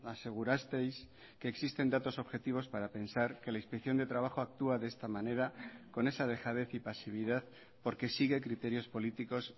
asegurasteis que existen datos objetivos para pensar que la inspección de trabajo actúa de esta manera con esa dejadez y pasividad porque sigue criterios políticos